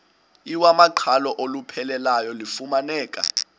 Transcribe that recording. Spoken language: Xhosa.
iwamaqhalo olupheleleyo lufumaneka